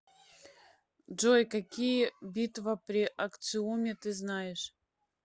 джой какие битва при акциуме ты знаешь